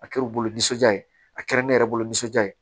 A kɛra u bolo nisɔndiya ye a kɛra ne yɛrɛ bolo nisɔndiya ye